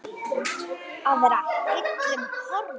Að vera heillum horfin